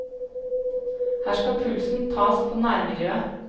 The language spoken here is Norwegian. Her skal pulsen tas på nærmiljøet.